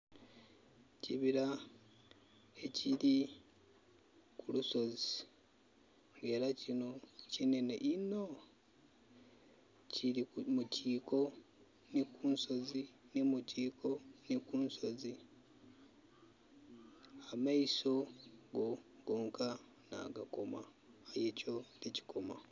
Ekibila ekili ku lusozi, nga era kino kinhenhe inho. Kili mu kyiko nhi kunsozi nhi mu kyiko nhi kunsozi. Amaiso go gonka nagakoma aye kyo tikikoma.